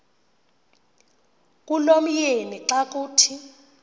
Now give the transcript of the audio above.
kulomyeni xa kuthi